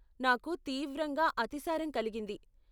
నాకు తీవ్రంగా అతిసారం కలిగింది.